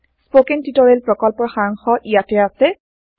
spoken tutorial প্ৰকল্পৰ সাৰাংশ ইয়াতে আছে